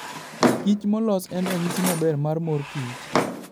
Kich molos en ranyisi maber mar mor kich.